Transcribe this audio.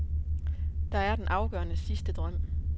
Der er den afgørende, sidste drøm.